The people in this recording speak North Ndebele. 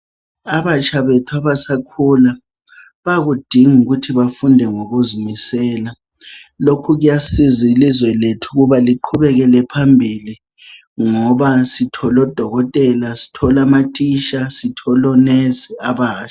Abatsha bethu abasakhula, bayakudinga ukuthi bafunde ngokuzimisela. Lokhu kuyasiza ilizwe lethu ukuba liqhubekele phambili ngoba sithola odokotela sithole amatitsha sithole onesi abatsha.